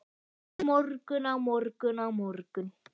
Á morgun, á morgun, á morgun.